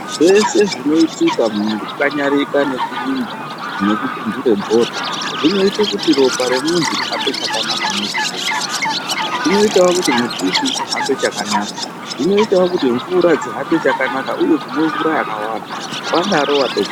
Zveshe zvinoitika mukukanyarika nekurumba nekupunhura bhora, zvinoite kuti ropa remuntu rihambe chakanaka mweshe mwerinohamba. Zvinoitawo kuti mututu uhambe chakanaka. Zvinoitawo kuti mvura dzihambe chakanaka, uye kumwe mvura yakawanda. Wadaro watopedza.